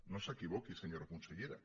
no s’equivoqui senyora consellera